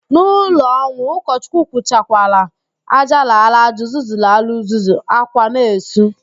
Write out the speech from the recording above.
N'ụlọ ọnwụ, ụkọchukwu kwuchakwala, "ájá lara aja, uzuzu lara uzuzu", ákwá na-esu